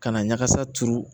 Ka na ɲagasa turu